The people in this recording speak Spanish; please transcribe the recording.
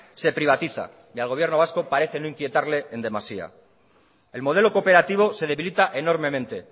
se privatiza y al gobierno vasco parece no inquietarle en demasía el modelo cooperativo se debilita enormemente